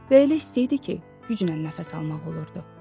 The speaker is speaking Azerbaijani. Və elə isti idi ki, güclə nəfəs almaq olurdu.